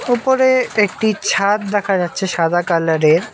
ওপরে একটি ছাদ দেখা যাচ্ছে সাদা কালারের।